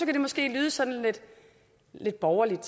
det måske lyde sådan lidt borgerligt og